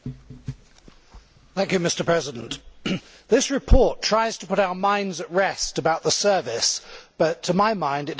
Mr President, this report tries to put our minds at rest about the service but, to my mind, it does exactly the opposite.